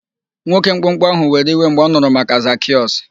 Nwoke mkpụmkpụ ahụ were iwe mgbe ọ nụrụ maka Zakịọs.